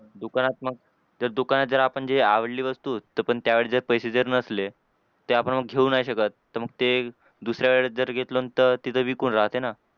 दुकानात मग तेच दुकानात जर आपण जी आवडली वस्तू तर पण त्यावेळी जर पैसे जर नसले ते आपण मग घेऊ नाही शकत. तर मग ते दुसऱ्या वेळेस जर घेतलं तर तिथं विकून राहते ना.